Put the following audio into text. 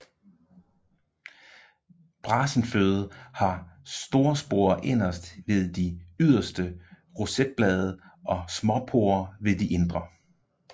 Brasenføde har storsporer inderst ved de ydre rosetblade og småsporer ved de indre